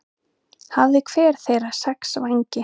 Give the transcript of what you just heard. Hafði hver þeirra sex vængi.